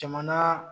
Jamana